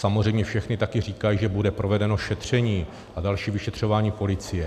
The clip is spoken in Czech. Samozřejmě všechny také říkají, že bude provedeno šetření a další vyšetřování policie.